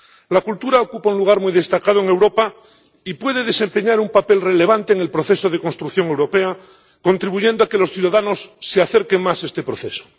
La cultura ocupa un lugar muy destacado en Europa y puede desempeñar un papel relevante en el proceso de construcción europea, contribuyendo a que los ciudadanos se acerquen más a este proceso.